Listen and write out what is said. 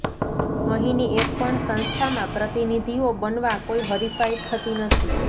અહીની એક પણ સંસ્થામાં પ્રતિનિધિઓ બનવા કોઇ હરિફાઇ થતી નથી